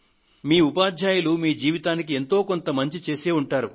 మీ ఉపాధ్యాయులు మీ జీవితానికి ఎంతో కొంత మంచిని చేసే ఉంటారు